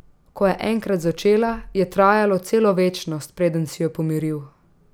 Ko je enkrat začela, je trajalo celo večnost, preden si jo pomiril.